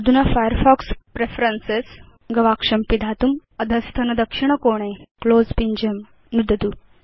अधुना Firefox preference गवाक्षं पिधातुम् अधस्तनवामकोणे क्लोज़ पिञ्जं नुदतु